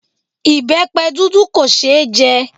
Ìbẹpẹ dúdú kò ṣe é jẹ